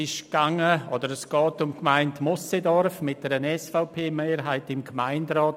Es geht um die Gemeinde Moosseedorf mit einer SVP-Mehrheit im Gemeinderat.